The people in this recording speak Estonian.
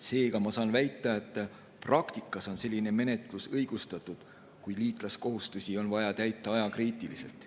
Seega saan väita, et praktikas on selline menetlus õigustatud, kui liitlaskohustusi on vaja täita ajakriitiliselt.